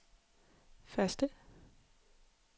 første